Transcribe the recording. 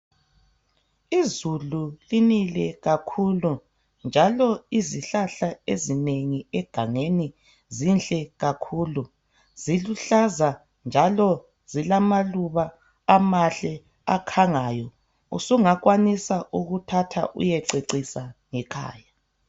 izulu linele kakhulu njalo izihlahla ezinengi egangeni zinhle kakhulu njalo ziluhlaza zilamaluba amahle akhangayo sungakwanisa ukuthatha uyececisa ngekhaya